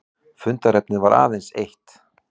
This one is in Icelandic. Fundarefnið var aðeins eitt